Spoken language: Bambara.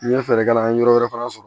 N ye fɛɛrɛ k'a la an ye yɔrɔ wɛrɛ fana sɔrɔ